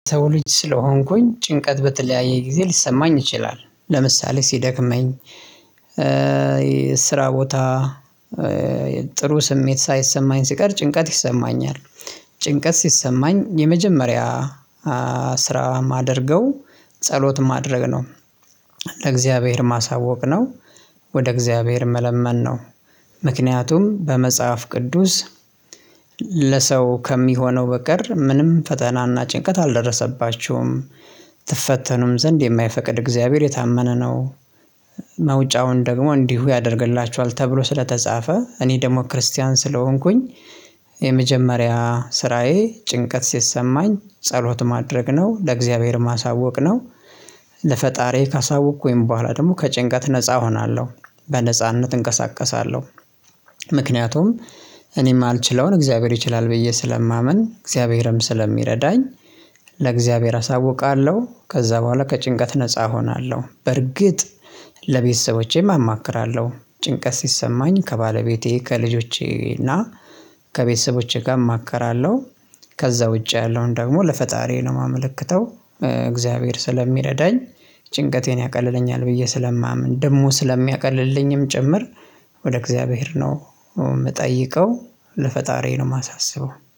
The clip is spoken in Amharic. ሰው ልጅ ስለሆንኩኝ ጭንቀት በተለያየ ጊዜ ሊሰማኝ ይችላል። ለምሳሌ ሲደክመኝ ስራ ቦታ ጥሩ ስሜት ሳይሰማኝ ሲቀር ጭንቀት ይሰማኛል። ጭንቀት ሲሰማኝ የመጀመሪያ ስራ የማደርገው ጸሎት ማድረግ ነው። ማሳወቅ ነው ወደ እግዚአብሔር መለመን ነው። ምክንያቱም በመጽሐፍ ቅዱስ ለሰው ከሚሆነው በቀር ምንም ፈተናና ጭንቀት አልደረሰባችሁም ትፈተኑም ዘንድ የማይፈቅድ እግዚአብሔር የታመነ ነው። መውጫውን ደግሞ እንዲሁ ያደርግላችኋል ተብሎ ስለተጻፈ እኔ ደግሞ ክርስቲያን ስለሆንኩኝ የመጀመሪያ ስራዬ ጭንቀት ሲሰማኝ ጸሎት ማድረግ ነው ለእግዚአብሔር ማሳወቅ ነው። ለፈጣሪዬ ካሳወቅኩኝ ቦኋላ ደግሞ ከጭንቀት ነፃ ሆናለሁ በነጻነት እንቀሳቀሳለሁ። ምክንያቱም እኔ ማልችለውን እግዚአብሔር ይችላል ብዬ ስለማምን እግዚአብሔርም ስለሚረዳኝ ለእግዚአብሔር አሳውቃለሁ ከዛ ቦኋላ ከጭንቀት ነፃ ሆናለሁ በርግጥ ለቤተሰቦቼም አማክራለሁ ጭንቀት ሲሰማኝ ከባለቤቴ ከልጆቼ እና ከቤተሰቦቼ ጋር እማክራለሁ ከዛ ውጪ ያለውን ደግሞ ለፈጣሪዬ ነው የማመልክተው እግዚአብሔር ስለሚረዳኝ ጭንቀቴን ያቀልለኛል ብዬ ስለማምን ደግሞ ስለሚያቀልልኝም ጭምር ወደ እግዚአብሔር ነው የምጠይቀው ለፈጣሪዬ ነው የማሳስበው